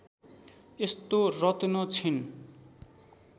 यस्तो रत्न छिन्